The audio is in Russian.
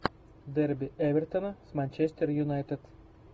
дерби эвертона с манчестер юнайтед